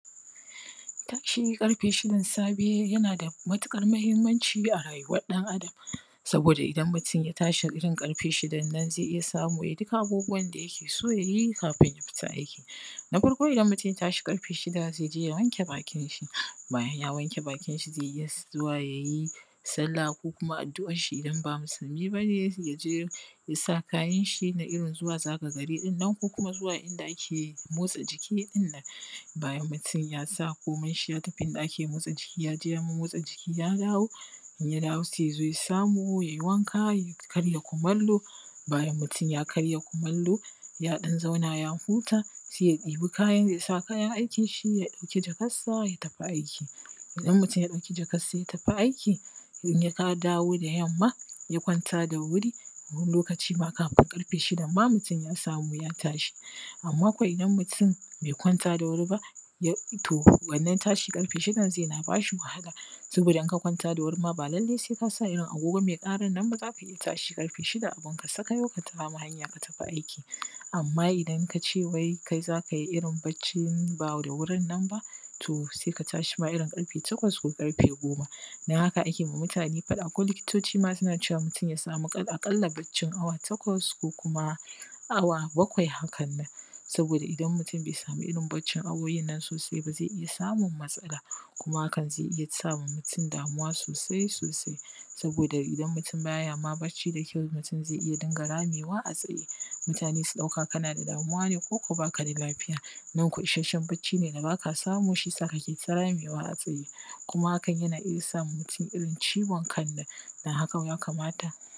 Tashi ƙarfe shidan safe yana da matuƙar muhimmanci ga rayuwar ɗan adam. Saboda idan mutun ya tashi ƙarfe shidan nan zai iya samu ya yi duk abubuwan da yake so ya yi kafin ya fita aiki. Na farko idan mutun ya tashi ƙarfe shida zai je ya wanke bakin shi bayan ya wanke bakin shi zai iya zuwa yayi salla ko kuma addu’an shi idan ba musulmi ba ne ya je ya sa kayan shi na irin zuwa zaga gari ɗin nan ko kuma zuwa inda ake motsa jiki ɗin nan. Bayan mutun ya sa komai shi ya tafi inda ake motsa jiki ya je ya mommotsa jiki ya dawo in ya dawo sai ya zo ya samu yayi wanka ya karya kumallo, bayan mutun ya karya kumallo ya ɗan zauna ya huta sai ya debi kaya ya sa kayan aikin shi ya ɗauki jakan sa ya tafi aiki. Idan mutun ya ɗauki jakan sa ya tafi aiki in ya ka ya dawo da yamma ya kwanta da wuri, wani lokacin ma kafin ƙarfe shidan ma mutum ya samu ya tashi. Amma kwa idan mutun bai kwanta da wuri ya to wannan tashi ƙarfe shidan zai na ba shi wahala saboda in ka kwanta da wuri ma ba lallai sai ka sa irin agogo mai ƙaran nan ba za ka iya tashi ƙarfe shida abunka sakayau ka kama hanya ka tafi aiki. Amma idan ka ce wai kai za ka yi irin baccin ba da wurin nan ba, to se ka tashi ma irin ƙarfe takwas ko ƙarfe goma. Don haka ake ma mutane faɗa ko likitoci ma suna cewa mutun ya samu ƙal aƙalla baccin awa takwas ko kuma awa bakwai hakannan, saboda idan mutun bai samu irin baccin awowin nan sosai ba zai iya samun kuma hakan zai iya sama mutum damuwa sosai-sosai saboda idan mutun ba ya ma bacci da kyau mutum zai iya dinga ramewa a tsaye mutane su ɗauka kana da damuwa ne koko ba ka da lafiya nan ko isasshe bacci ne da baka samu shisa kake ta ramewa a tsaye, kuma hakan yana iya sama mutun irin ciwon kannan dan haka ya kamata.